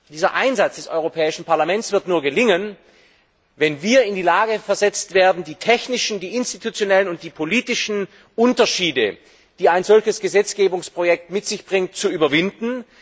Dieser Einsatz des Europäischen Parlaments wird nur gelingen, wenn wir in die Lage versetzt werden, die technischen, institutionellen und politischen Unterschiede, die ein solches Gesetzgebungsprojekt mit sich bringt, zu überwinden.